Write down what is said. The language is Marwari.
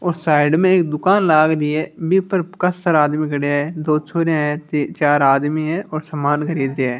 उस साइड में एक दुकान लाग री है बी पर काशा सारा आदमी खड़िया है दो छोरियां है तीन-चार आदमी है और समान खरीद रिया है।